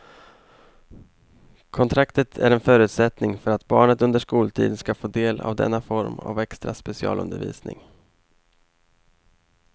Kontraktet är en förutsättning för att barnet under skoltid ska få del av denna form av extra specialundervisning.